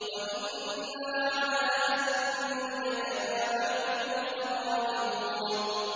وَإِنَّا عَلَىٰ أَن نُّرِيَكَ مَا نَعِدُهُمْ لَقَادِرُونَ